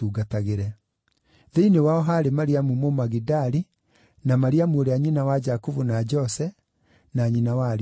Thĩinĩ wao haarĩ Mariamu Mũmagidali, na Mariamu ũrĩa nyina wa Jakubu na Jose, na nyina wa ariũ a Zebedi.